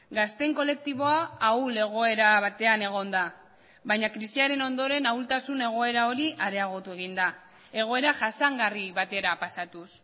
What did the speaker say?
gazteen kolektiboa ahul egoera batean egon da baina krisiaren ondoren ahultasun egoera hori areagotu egin da egoera jasangarri batera pasatuz